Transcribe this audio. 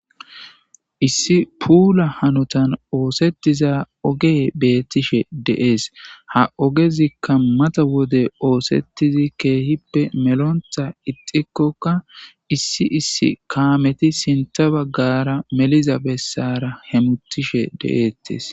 issi puula hanotan oosettiza oge beettishe de7ees ha ogezikka mata wode oosettizi keehippe melontha ixikkokka issi issi kaameti sinta baggara meliza bessara hemutishe de7eettes